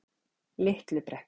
Litlu Brekku